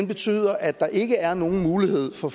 betyder at der ikke er nogen mulighed for